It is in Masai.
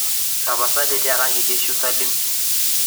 tapasali tiakaki keishu salim